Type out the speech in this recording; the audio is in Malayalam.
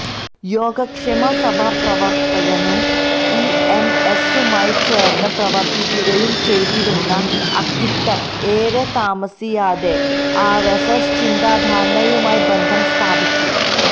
യോഗക്ഷേമസഭാ പ്രവര്ത്തകനും ഇഎംഎസുമായി ചേര്ന്ന് പ്രവര്ത്തിക്കുകയു ചെയ്തിരുന്ന അക്കിത്തം ഏറെ താമസിയാതെ ആര്എസ്എസ് ചിന്താധാരയുമായി ബന്ധം സ്ഥാപിച്ചു